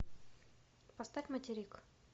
поставь материк